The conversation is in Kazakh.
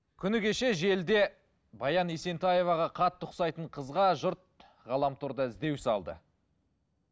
күні кеше желіде баян есентаева қатты ұқсайтын қызға жұрт ғаламторда іздеу салды